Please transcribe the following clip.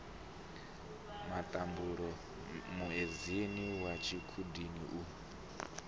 matambule muedzini wa tshikhudini u